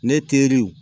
Ne teriw